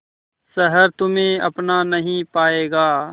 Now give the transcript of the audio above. शहर तुम्हे अपना नहीं पाएगा